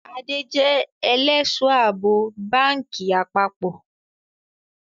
Adé jẹ ẹlẹ́sọ̀-àbò báńkì àpapọ̀